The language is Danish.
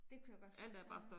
Det kunne jeg godt forestille mig